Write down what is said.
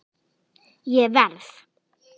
Ég verð.